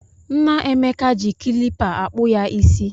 Nna Emeka ji klipa akpụ ya ịsị.